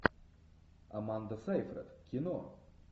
аманда сайфред кино